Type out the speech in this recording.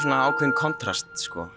ákveðinn kontrast